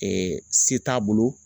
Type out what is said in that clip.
se t'a bolo.